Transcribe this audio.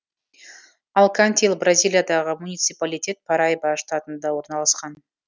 алкантил бразилиядағы муниципалитет параиба штатында орналасқан